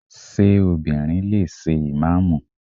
Ṣé obìnrin lè ṣe ìmáàmù?